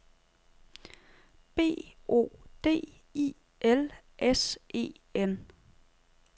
B O D I L S E N